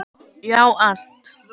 Já, allt.